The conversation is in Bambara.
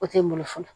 O tɛ n bolo fɔlɔ